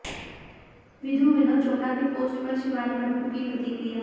विधु विनोद चोपड़ा के पोस्ट पर शिवानी मट्टू की प्रतिक्रिया